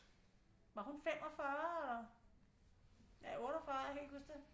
Var hun 45 eller ja 48 jeg kan ikke huske det